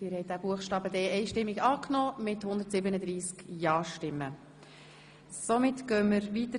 Sie haben den Antrag SiK-Mehrheit und Regierungsrat angenommen.